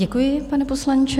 Děkuji, pane poslanče.